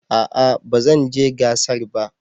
A'a ba zan je gasar ba.